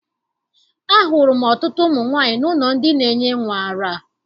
Ahụrụ m ọtụtụ ụmụ nwaanyị n'ụlọ ndị na-enye nnwa ara.